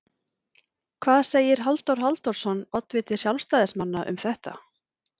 Hvað segir Halldór Halldórsson, oddviti sjálfstæðismanna, um þetta?